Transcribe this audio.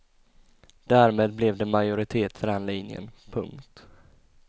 Därmed blev det majoritet för den linjen. punkt